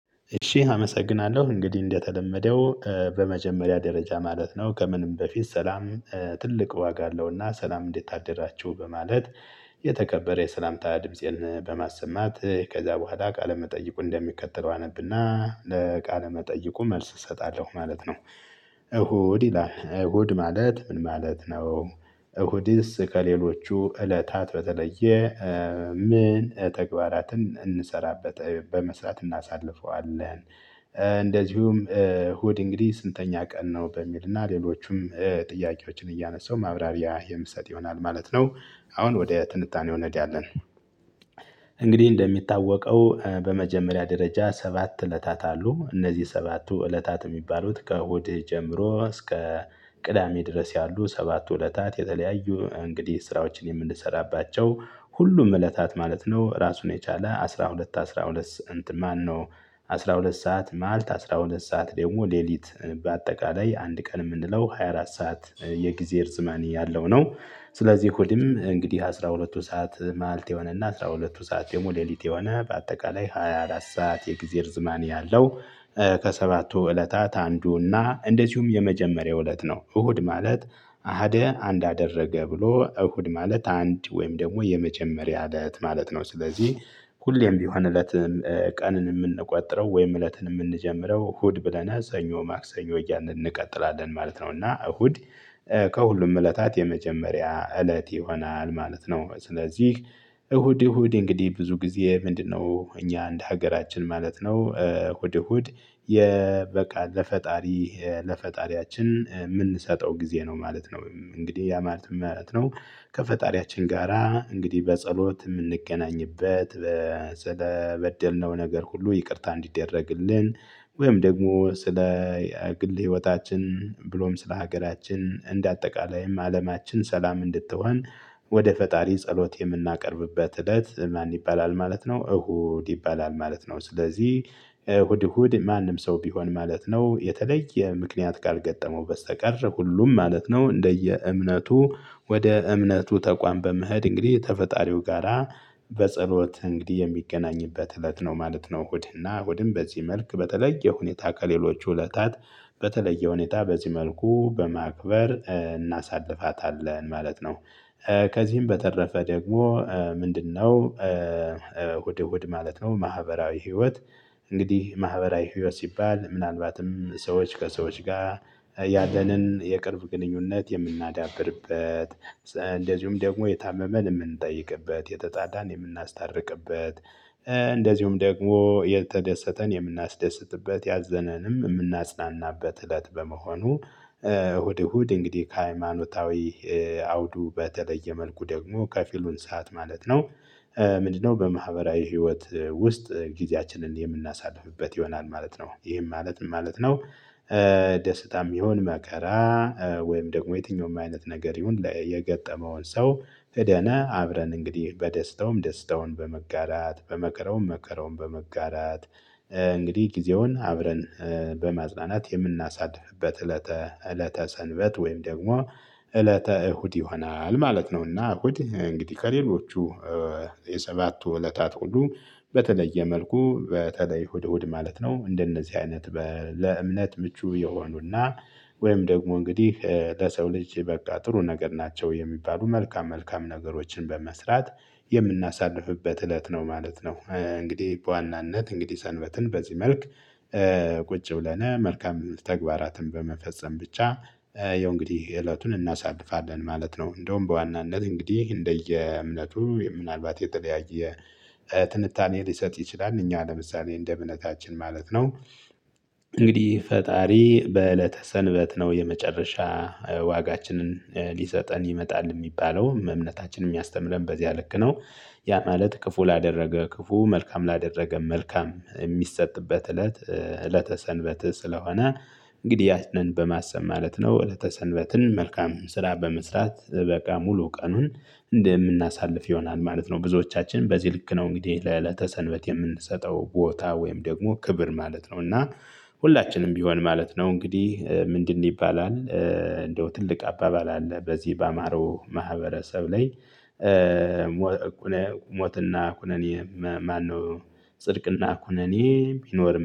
እሺ አመሰግናለሁ እንግዲህ እንደተለመደው በመጀመሪያ ደረጃ ማለት ነው ከምንም በፊት ሰላም ትልቅ ዋጋ አለውና ሰላም እንዴት አደራችሁ በማለት የተከበረ የሰላምታ ድምፄን በማሰማት ከዛ በኋላ ቃለ መጠይቁ እንደሚከተለው አነብና ለቃለ መጠይቁ መልስ እሰጣለሁ ማለት ነው። እሁድ ይላል እሁድ ማለት ምን ማለት ነው? እሁድስ ከሌሎቹ እለታት በተለየ። ምን ተግባራትን እንሰራበት በመስራት እናሳልፈዋለን። እንደዚሁም እሁድ እንግዲህ ስንተኛ ቀን ነው በሚልና ሌሎቹም ጥያቄዎችን እያነሳው ማብራሪያ የምሰጥ ይሆናል ማለት ነው። አሁን ወደ ትንታኔው እንሄዳለን። እንግዲህ እንደሚታወቀው በመጀመሪያ ደረጃ ሰባት እለታት አሉ እነዚህ ሰባቱ እለታት የሚባሉት ከእሁድ ጀምሮ እስከ ቅዳሜ ድረስ ያሉ ሰባት እለታት የተለያዩ እንግዲህ ስራዎችን የምንሰራባቸው ሁሉም እለታት ማለት ነው። ራሱን የቻለ አስራ ሁለት አስራ ሁለት ማን ነው? አስራ ሁለት ሰዓት ማልት አስራ ሁለት ሰዓት ደግሞ ሌሊት። በአጠቃላይ አንድ ቀን የምንለው ሃያ አራት ሰዓት የጊዜ ርዝመኔ ያለው ነው። ስለዚህ እሁድም እንግዲህ አስራ ሁለቱ ሰዓት ማልት የሆነና አስራ ሁለቱ ሰዓት ደግሞ ሌሊት የሆነ በአጠቃላይ ሃያ አራት ሰዓት የእግዜር ዝማኔ ያለው። ከሰባቱ እለታት አንዱና እንደዚሁም የመጀመሪያው እለት ነው እሁድ ማለት። አሀደ አንድ አደረገ ብሎ እሁድ ማለት አንድ ወይም ደግሞ የመጀመሪያ እለት ማለት ነው። ስለዚህ ሁሌም ቢሆን እለትም ቀንን የምንቆጥረው ወይም እለትን የምንጀምረው እሁድ ብለነ ሰኞ ማክሰኞ ያልን እንቀጥላለን ማለት ነው። እና እሁድ ከሁሉም እለታት የመጀመሪያ እለት ይሆናል ማለት ነው። ስለዚህ እሁድ እሁድ እንግዲህ ብዙ ጊዜ ምንድነው? እኛ እንደ ሀገራችን ማለት ነው እሁድ እሁድ። በቃ ለፈጣሪ ለፈጣሪያችን የምንሰጠው ጊዜ ነው ማለት ነው። እንግዲህ ያ ማለት ምን ማለት ነው? ከፈጣሪያችን ጋራ እንግዲህ በጸሎት የምንገናኝበት። ስለበደልነው ነገር ሁሉ ይቅርታ እንዲደረግልን ወይም ደግሞ ስለ ግል ህይወታችን ብሎም ስለ ሀገራችን እንደ አጠቃላይም አለማችን ሰላም እንድትሆን። ወደ ፈጣሪ ጸሎት የምናቀርብበት እለት ማን ይባላል ማለት ነው። እሁድ ይባላል ማለት ነው ስለዚህ። እሁድ እሁድ ማንም ሰው ቢሆን ማለት ነው የተለየ ምክንያት ካልገጠመው በስተቀር ሁሉም ማለት ነው እንደየ እምነቱ ወደ እምነቱ ተቋም በመሄድ እንግዲህ ተፈጣሪው ጋራ በጸሎት እንግዲህ የሚገናኝበት እለት ነው ማለት ነው። እሁድና እሁድን በዚህ መልክ በተለየ ሁኔታ ከሌሎች እለታት። በተለየ ሁኔታ በዚህ መልኩ በማክበር እናሳልፋታለን ማለት ነው። ከዚህም በተረፈ ደግሞ ምንድነው? እሁድ እሁድ ማለት ነው ማህበራዊ ህይወት። እንግዲህ ማህበራዊ ህይወት ሲባል ምናልባትም ሰዎች ከሰዎች ጋር ያለንን የቅርብ ግንኙነት የምናዳብርበት። እንደዚሁም ደግሞ የታመመን የምንጠይቅበት የተጣላን የምናስታርቅበት። እንደዚሁም ደግሞ የተደሰተን የምናስደስትበት ያዘነንም የምናጽናናበት እለት በመሆኑ። እሁድ እሁድ እንግዲህ ከሃይማኖታዊ አውዱ በተለየ መልኩ ደግሞ ከፊሉን ሰዓት ማለት ነው። ምንድነው በማህበራዊ ህይወት ውስጥ ጊዜያችንን የምናሳልፍበት ይሆናል ማለት ነው። ይሄም ማለት ምን ማለት ነው? ደስታም ይሁን መከራ ወይም ደግሞ የትኛውም አይነት ነገር ይሁን የገጠመውን ሰው ሂደን አብረን እንግዲህ በደስታውም ደስታውን በመጋራት በመከራውም መከራውን በመጋራት። እንግዲህ ጊዜውን አብረን በማጽናናት የምናሳድፍበት እለተ እለተ ሰንበት ወይም ደግሞ እለተ እሁድ ይሆናል ማለት ነውና። እሁድ እንግዲህ ከሌሎቹ የሰባቱ እለታት ሁሉ በተለየ መልኩ በተለይ እሁድ እሁድ ማለት ነው እንደነዚህ አይነት ለእምነት ምቹ የሆኑና። ወይም ደግሞ እንግዲህ ለሰው ልጅ በቃ ጥሩ ነገር ናቸው የሚባሉ መልካም መልካም ነገሮችን በመስራት የምናሳልፍበት እለት ነው ማለት ነው። እንግዲህ በዋናነት እንግዲህ ሰንበትን በዚህ መልክ። ብለን መልካም ተግባራትን በመፈጸም ብቻ የው እንግዲህ እለቱን እናሳልፋለን ማለት ነው። እንደውም በዋናነት እንግዲህ እንደየእምነቱ ምናልባት የተለያየ ትንታኔ ሊሰጥ ይችላል። እኛ ለምሳሌ እንደ እምነታችን ማለት ነው። እንግዲህ ፈጣሪ በእለተ ሰንበት ነው የመጨረሻ ዋጋችንን ሊሰጠን ይመጣል የሚባለው እምነታችንን የሚያስተምረን በዚያ ልክ ነው። ያ ማለት ክፉ ላደረገ ክፉ መልካም ላደረገ መልካም የሚሰጥበት እለት እለተ ሰንበት ስለሆነ። እንግዲህ ያችን በማሰብ ማለት ነው እለተ ሰንበትን መልካም ስራ በመስራት በቃ ሙሉ ቀኑን እንደምናሳልፍ ይሆናል ማለት ነው። ብዙዎቻችን በዚህ ልክ ነው እንግዲህ ለዕለተ ሰንበት የምንሰጠው ቦታ ወይም ደግሞ ክብር ማለት ነው እና። ሁላችንም ቢሆን ማለት ነው እንግዲህ ምንድን ይባላል እንደው ትልቅ አባባል አለ በዚህ በአማሮ ማህበረሰብ ላይ። ሞትና ኩነኔ ማነው ጽድቅና ኩነኔ ቢኖርም